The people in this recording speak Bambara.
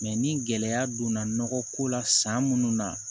ni gɛlɛya donna nɔgɔ ko la san munnu na